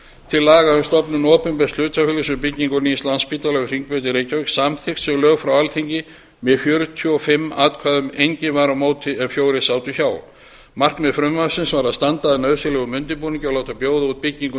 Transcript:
til laga um stofnun opinbers hlutafélags um byggingu nýs landspítala við hringbraut í reykjavík samþykkt sem lög frá alþingi með fjörutíu og fimm atkvæðum enginn var á móti en fjórir sátu hjá markmið frumvarpsins var að standa að nauðsynlegum undirbúningi og láta bjóða út byggingu